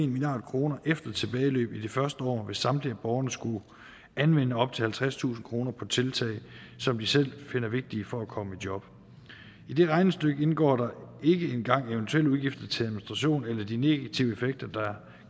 milliard kroner efter tilbageløb i de første år hvis samtlige borgere skulle anvende op til halvtredstusind kroner på tiltag som de selv finder vigtige for at komme i job i det regnestykke indgår der ikke engang eventuelle udgifter til administration eller de negative effekter der